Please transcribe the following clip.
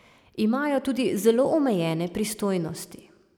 Imajo tudi zelo omejene pristojnosti.